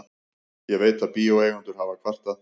Ég veit, að bíóeigendur hafa kvartað.